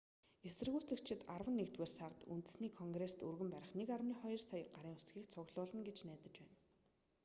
эсэргүүцэгчид арван нэгдүгээр сард үндэсний конгрест өргөн барих 1.2 сая гарын үсгийг цуглуулна гэж найдаж байна